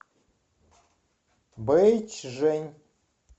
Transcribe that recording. бэйчжэнь